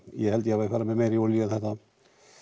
ég held ég hafi farið með meiri olíu en